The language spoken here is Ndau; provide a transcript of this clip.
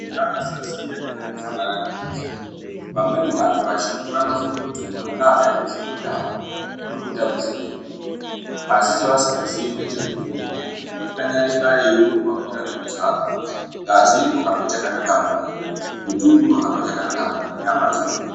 Eya kusaziya kwakandofanana nekufa. Vamweni vantu vazhinji vanofunge kuti mwana akaite zvemutambo urikutambisirwe nguwa. Asi ,chevasingazii ngechekuti muntu kana eikanyarika ,eirumba ,kukwira nekudzaka ,ngazi irikuhambe chakanaka mumwiri, mututu unohambe chakanaka mumwiri, nyama dzinogwinya.